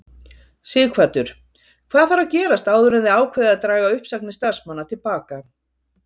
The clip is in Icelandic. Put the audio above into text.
Sighvatur: Hvað þarf að gerast áður en þið ákveðið að draga uppsagnir starfsmanna til baka?